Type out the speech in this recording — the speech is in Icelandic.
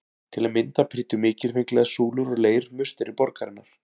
Til að mynda prýddu mikilfenglegar súlur úr leir musteri borgarinnar.